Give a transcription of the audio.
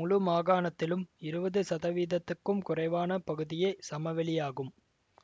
முழு மாகாணத்திலும் இருவது சதவீதத்துக்கும் குறைவான பகுதியே சமவெளியாகும்